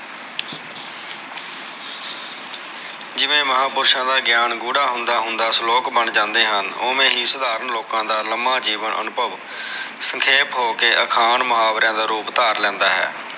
ਜਿਵੇ ਮਹਾਪੁਰਸ਼ਾ ਦਾ ਗਿਆਨ ਗੂੜ੍ਹਾ ਹੁੰਦਾ ਹੁੰਦਾ ਸਲੋਕ ਬਣ ਜਾਂਦੇ ਹਨ ਓਵੇ ਹੀ ਸਧਾਰਨ ਲੋਕਾ ਦਾ ਲਮਾ ਜੀਵਨ ਅਨੁਭਵ ਸਖੇਪ ਹੋ ਕੇ ਅਖਾਣ ਮੁਹਾਵਰਿਆ ਦਾ ਰੂਪ ਧਾਰ ਲੈਂਦਾ ਹੈ